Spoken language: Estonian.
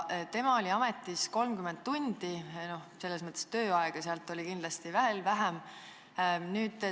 Ta oli ametis 30 tundi, tööaega oli kindlasti veel vähem.